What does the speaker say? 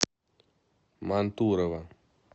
мантурово